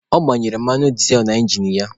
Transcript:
Ọ gbanyere mmanụ dịzel na ingin ya.